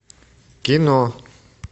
кино